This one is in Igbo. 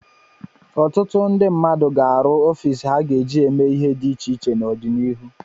Ọtụtụ ndị mmadụ ga-arụ ọfiisi ha ga-eji eme ihe dị iche iche n'ọdịnihu.